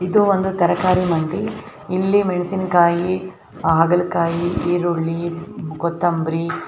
ಇದು ಒಂದು ತರಕಾರಿ ಮಂಡಿ ಇಲ್ಲಿ ಮೆಣಸಿನಕಾಯಿ ಹಾಗಲಕಾಯಿ ಈರುಳ್ಳಿ ಕೊತಂಬರಿ.